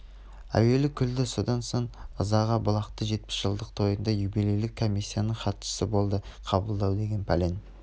әуелі күлді содан соң ызаға булықты жетпіс жылдық тойында юбилейлік комиссияның хатшысы болды қабылдау деген пәлен